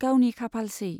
गावनि खाफालसै।